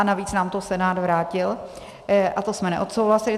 A navíc nám to Senát vrátil a to jsme neodsouhlasili.